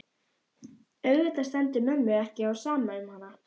Auðvitað stendur mömmu ekki á sama um hana.